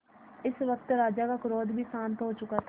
इस वक्त राजा का क्रोध भी शांत हो चुका था